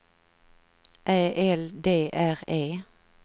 Ä L D R E